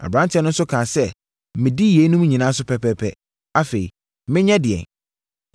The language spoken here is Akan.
Aberanteɛ no nso kaa sɛ, “Medi yeinom nyinaa so pɛpɛɛpɛ. Afei, menyɛ ɛdeɛn?”